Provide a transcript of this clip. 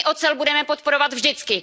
My ocel budeme podporovat vždycky.